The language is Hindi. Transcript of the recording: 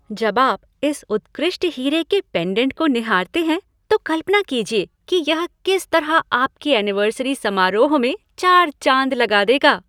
जब आप इस उत्कृष्ट हीरे के पेंडेंट को निहारते हैं, तो कल्पना कीजिए कि यह किस तरह आपके ऐनिवर्सरी समारोह में चार चाँद लगा देगा।